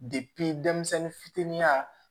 denmisɛnnin fitinin